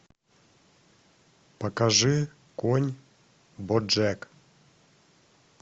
покажи конь боджек